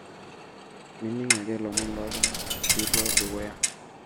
mining ake lomon lontunganak piilo dukuya